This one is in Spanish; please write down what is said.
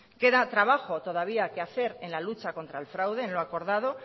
queda trabajo todavía que hacer en la lucha contra el fraude en lo acordado